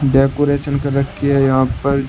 Decoration कर रखी है यहां पर।